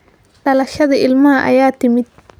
Dhalashadii ilmaha ayaa timid.